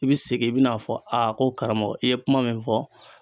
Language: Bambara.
I bi segin i be n'a fɔ a ko karamɔgɔ i ye kuma min fɔ